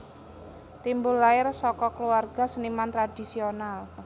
Timbul lair saka kluwarga seniman tradhisional